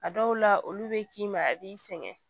A dɔw la olu bɛ k'i ma a b'i sɛgɛn